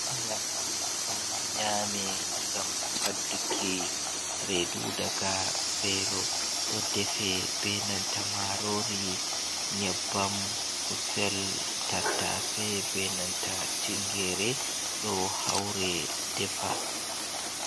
Nyamdu ɗo nyame ngam fadduki redu daga velo, ɗo defe be nanta marori, nyebbam, kusel, tattase benanta tingere ɗo haure defa.